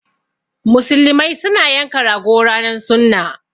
Muslimai su na yanka rago ranan sunna.